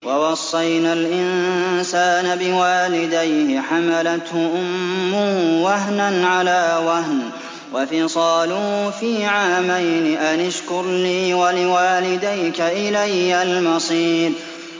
وَوَصَّيْنَا الْإِنسَانَ بِوَالِدَيْهِ حَمَلَتْهُ أُمُّهُ وَهْنًا عَلَىٰ وَهْنٍ وَفِصَالُهُ فِي عَامَيْنِ أَنِ اشْكُرْ لِي وَلِوَالِدَيْكَ إِلَيَّ الْمَصِيرُ